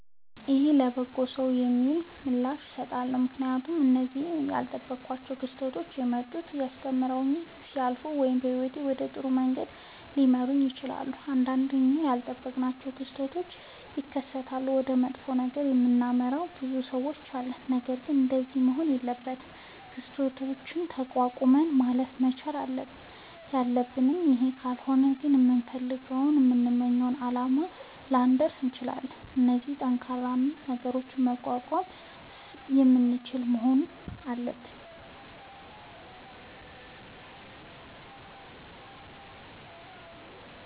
ይሁን ለበጎ ነዉ የሚል ምላሽ እሠጣለሁ። ምክንያቱም እነዚያ እኔ ያልጠበኳቸዉ ክስተቶች የመጡት አስተምረዉኝ ሊያልፉ ወይም ህይወቴን ወደ ጥሩ መንገድ ሊመሩት ይችላሉ። ንዳንዴ እኛ ያልጠበቅናቸዉ ክስተቶች ሢከሠቱ ወደ መጥፎ ነገር የምናመራ ብዙ ሠዎች አለን። ነገርግን እንደዚያ መሆን የለበትም። ክስተቶችን ተቋቁመን ማለፍ መቻል ነዉ ያለብን ይህ ካልሆነ ግን ከምንፈልገዉና ከምንመኘዉ አላማ ላንደርስ እንችላለን። ስለዚህ ጠንካራ እና ነገሮችን መቋቋም የምንችል መሆን አለብን።